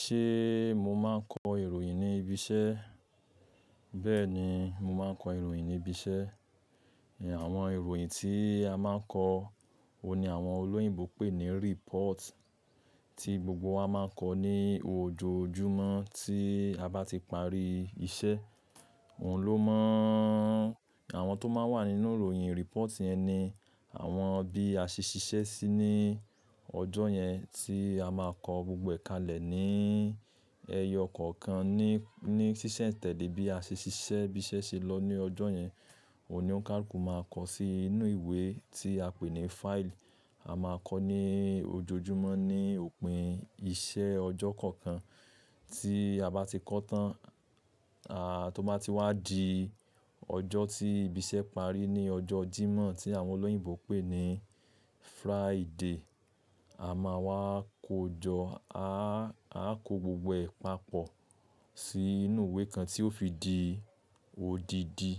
Ṣé mo máa ń kọ ìròyìn ní ibi iṣẹ́? Bẹ́ẹ̀ ni, mo máa ń kọ ìròyìn ní ibi iṣẹ́. Àwọn ìròyìn tí a máa ń kọ, òun ni àwọn olóyìnbo pè ní report, tí gbogbo wa máa ń kọ ní ojoojúmọ́ tí a bá ti parí iṣẹ́. Òun ló mọ, àwọn tó máa wà nínú ìròyìn report yẹn ni àwọn bí a ṣe ṣiṣẹ́ sí ní ọjọ́ yẹn tí a máa kọ gbogbo èkalẹ̀ ní ẹyọ kọ̀ọ̀kan ní, ní ṣíṣẹ̀tẹ̀lé bí a ṣe ṣiṣẹ́, bí iṣẹ́ ṣe lọ ní ọjọ́ yẹn. Òun ni óun kàlukù máa kọ sí inú ìwé tí a pè ní file. A máa kọ ní ojoojúmọ́ ní òpin iṣẹ́ ọjọ́ kọ̀ọ̀kan. Tí a bá ti kọ tán, a tó bá ti wá di ọjọ́ tí ibi iṣẹ́ parí ní ọjọ́ Jímọ̀ tí àwọn olóyìnbo pè ní Friday. A máa wá kojọ́, a á ko gbogbo ẹ̀ papọ̀ sí inú ìwé kan tí ó fi di odidi.